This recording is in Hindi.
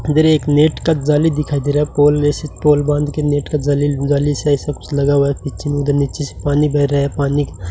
इधर एक नेट का जाली दिखाई दे रहा हैं पॉल बांधकर नेट की जाली के कुछ लगा हुआ हैं नीचे उधर पीछे से पानी बह रहा है पानी --